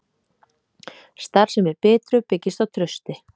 Starfsemi Bitru byggist á trausti